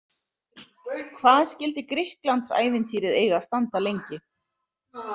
Hvað skyldi Grikklandsævintýrið eiga að standa lengi?